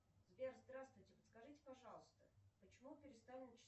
сбер здравствуйте подскажите пожалуйста почему перестали